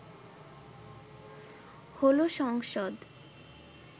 হলো সংসদ